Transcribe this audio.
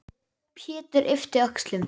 Pétur yppti öxlum.